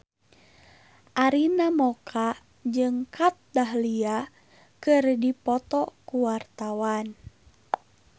Arina Mocca jeung Kat Dahlia keur dipoto ku wartawan